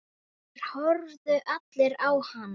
Þeir horfðu allir á hana.